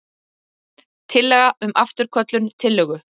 Tillaga um afturköllun tillögu.